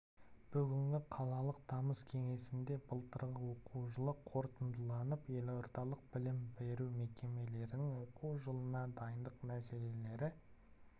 бүгінгі қалалық тамыз кеңесінде былтырғы оқу жылы қорытындыланып елордалық білім беру мекемелерінің оқу жылына дайындық мәселелері